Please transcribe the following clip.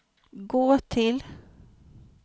gå till